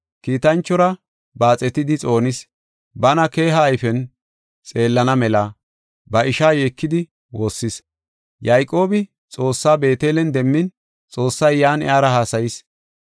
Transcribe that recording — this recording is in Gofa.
kiitanchora baaxetidi xoonis. Bana keeha ayfen xeellana mela ba ishaa yeekidi woossis. Yayqoobi Xoossaa Beetelen demmin Xoossay yan iyara haasayis.